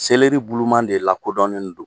Seleri buluman de la kodɔnnen don.